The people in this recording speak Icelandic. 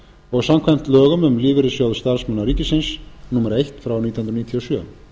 og samkvæmt lögum um lífeyrissjóð starfsmanna ríkisins númer eitt nítján hundruð níutíu og sjö